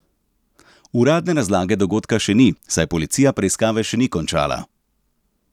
Uradne razlage dogodka še ni, saj policija preiskave še ni končala.